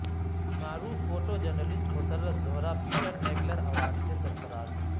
معروف photo journalist Masarrat Zehra Peter Mackler award سے سرفراز